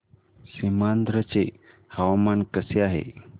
सीमांध्र चे हवामान कसे आहे